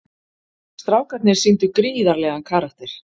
Strákarnir sýndu gríðarlegan karakter